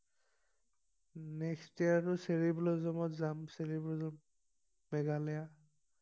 next year আৰু cherry ব্লোচমত যাম চ্চেৰি ব্লোচম মেঘালয়া